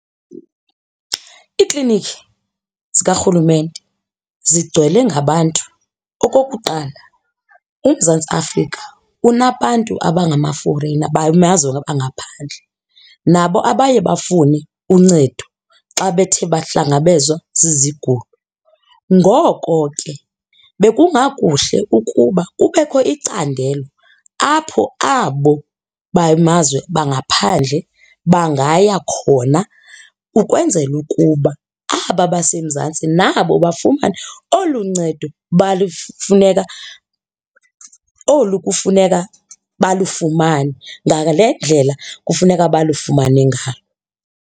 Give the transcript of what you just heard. Iiklinikhi zikarhulumente zigcwele ngabantu. Okokuqala, uMzantsi Afrika unabantu abangama-foreigner bamazwe angaphandle nabo abaye bafune uncedo xa bethe bahlangabezwa zizigulo. Ngoko ke bekungakuhle ukuba kubekho icandelo apho abo bamazwe bangaphandle bangaya khona ukwenzela ukuba aba baseMzantsi nabo bafumane olu ncedo balufuneka olu kufuneka balufumane ngale ndlela kufuneka balufumane ngalo.